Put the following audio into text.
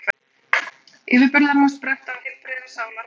Yfirburðir hans spretta af heilbrigðri sálarró.